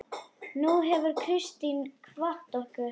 Nú hefur Kristín kvatt okkur.